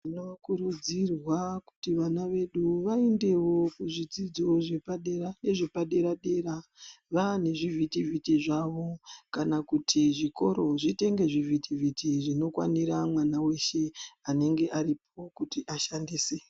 Tinokurudzirwa kuti vana vedu vaendewo kuzvidzidzo zvepadera nezvepadera-dera vane zvivhiti-vhiti zvavo kana kuti zvikoro zvitenge zvivhiti-vhiti zvinokwanira mwana weshe anenge aripo kuti ashandise.